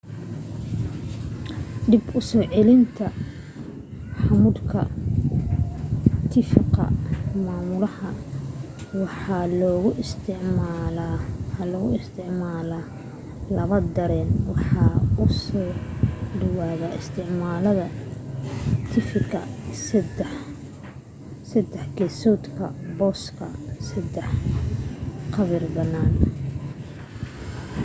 dib u soo celinta ramuudka tifiga maamulaha waxaa loo isticmala laba dareen wade oo u dhaw isticmalaha tifiga saddex gesoodka booska sadex cabirka banana